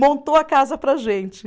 Montou a casa para a gente.